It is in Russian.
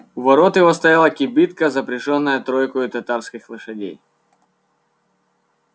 у ворот его стояла кибитка запряжённая тройкою татарских лошадей